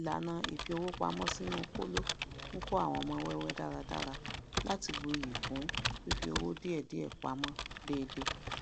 ìlànà ifi owó pamó sínú kóló nkọ àwọn ọmọ wẹwẹ dáradára láti bù ìyí kún fifi owó diẹdiẹ pamó deede